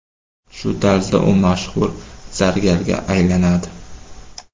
Shu tarzda u mashhur zargarga aylanadi.